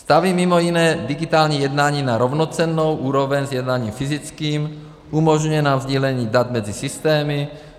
Staví mimo jiné digitální jednání na rovnocennou úroveň s jednáním fyzickým, umožňuje nám sdílení dat mezi systémy.